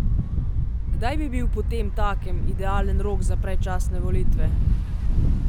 Kdaj bi bil potemtakem idealen rok za predčasne volitve?